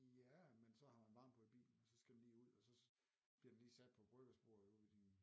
Ja men så har man varme på i bilen og så skal den lige ud og så bliver den lige sat på bryggersbordet ude i